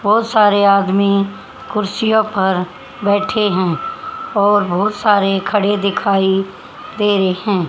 बहोत सारे आदमी कुर्सियों पर बैठे हैं और बहोत सारे खड़े दिखाई दे रे है।